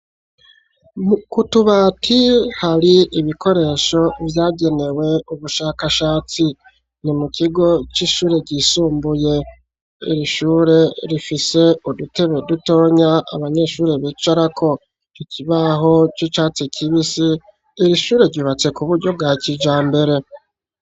K'utubati hari ibikoresho vyagenewe ubushakashatsi ni mu kigo c'ishure ryisumbuye iri shure rifise udutebe dutonya abanyeshuri bicara ko tukibaho c'icatsi kibisi iri shure ribatse ku buryo bwa kijambere.